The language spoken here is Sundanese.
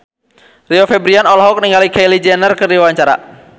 Rio Febrian olohok ningali Kylie Jenner keur diwawancara